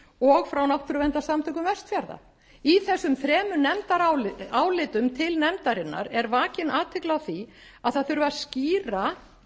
og frá náttúruverndarsamtökum vestfjarða í þessum þremur nefndarálitum til nefndarinnar er vakin athygli á því að það þurfi að skýra